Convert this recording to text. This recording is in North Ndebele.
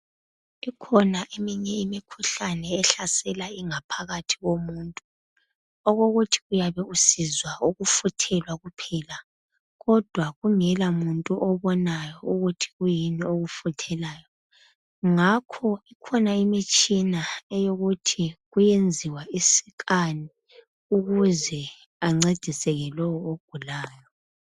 Ikhona eminye imikhuhlane ehlasela ingaphakathi yomuntu okokuthi uyabe usizwa ukufuthelwa kuphela kodwa kungela muntu obonayo ukuthi kuyini ekufuthelayo ngakho kukhona imitshina eyokuthi kuyenziwa i"scan" ukuze ancediseke lowo ogulayo.